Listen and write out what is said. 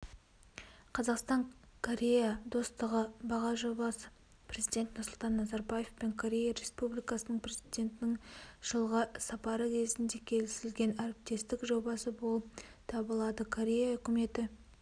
қазақстан корея достығы бағы жобасы президент нұрсұлтан назарбаевпен корея республикасының президентінің жылғы сапары кезінде келісілген әріптестік жобасы болып табылады корея үкіметі